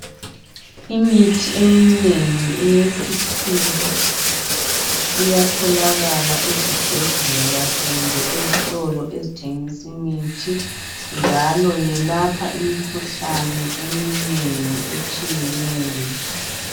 Imithi eminengi eyesikhiwa iyatholakala ezibhedlela kumbe ezitolo ezithengisa imithi njalo yelapha imikhuhlane eminengi etshiyeneyo